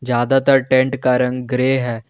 ज्यादातर टेंट का रंग ग्रे है।